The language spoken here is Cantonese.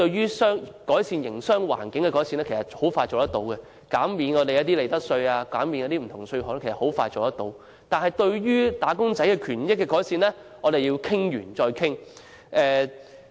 關於改善營商環境的措施，如減免利得稅或其他稅項等很快便落實，但關於改善"打工仔"權益的措施卻要再三討論。